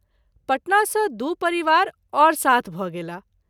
पटना सँ दू परिवार और साथ भ’ गेलाह।